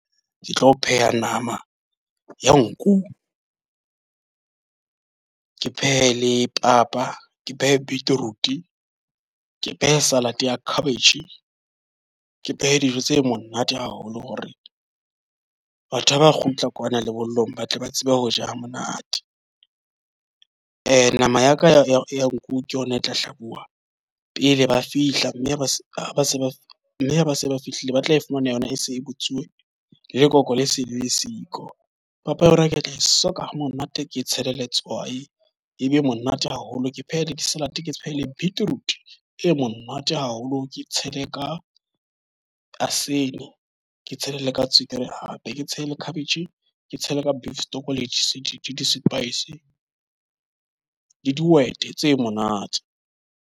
Ke tlo pheha nama ya nku, ke phehe le papa, ke phehe beetroot, ke phehe salad ya cabbage, ke phehe dijo tse monate haholo. Hore batho ha ba kgutla kwana lebollong, ba tle ba tsebe ho ja ha monate. Nama ya ka ya nku ke yona e tla hlabuwa pele ba fihla. Mme ha ba se ba se ba mme ha ba se ba fihlile, ba tla e fumana yona e se e butsuwe. Lekoko le se le siko, papa ya hore ke tla e soka ha monate, ke tshele letswai e be e monate haholo. Ke phehe le salad, ke tshohile beetroot e monate haholo, ke tshele ka asene, ke tshele le ka tswekere. Hape ke tshele cabbage, ke tshele ka beef stock le di-spices le dihwete tse monate.